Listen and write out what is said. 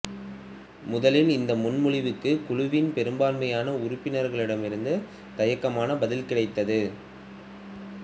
முதலில் இந்த முன்மொழிவுக்கு குழுவின் பெரும்பான்மையான உறுப்பினர்களிடமிருந்து தயக்கமான பதில் கிடைத்தது